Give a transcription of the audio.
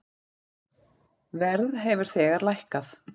Verð hefur þegar lækkað.